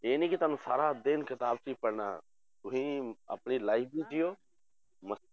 ਇਹ ਨੀ ਕਿ ਤੁਹਾਨੂੰ ਸਾਰਾ ਦਿਨ ਕਿਤਾਬ 'ਚ ਹੀ ਪੜ੍ਹਣਾ ਤੁਸੀਂ ਆਪਣੀ life ਨੂੰ ਜੀਓ ਮ~